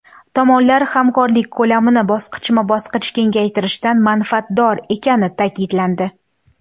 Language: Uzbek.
Tomonlar hamkorlik ko‘lamini bosqichma-bosqich kengaytirishdan manfaatdor ekani ta’kidlandi.